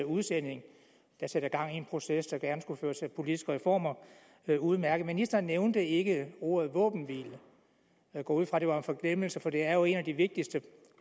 udsending der sætter gang i en proces der gerne skulle føre til politiske reformer det er udmærket ministeren nævnte ikke ordet våbenhvile jeg går ud fra at det var en forglemmelse for det er jo et af de vigtigste